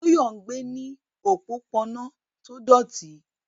Toyo gbé ní òpópónà tó dọ̀tí.